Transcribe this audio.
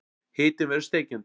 Hitinn verður steikjandi.